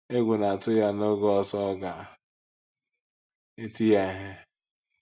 Egwu na-atu ya na n’oge ọzọ ọ ga - eti ya ihe.